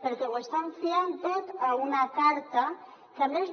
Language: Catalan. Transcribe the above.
perquè ho estan fiant tot a una carta que a més